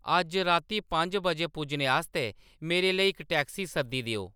अज्ज राती पंज बजे पुज्जने आस्तै मेरे लेई इक टैक्सी सद्दी देओ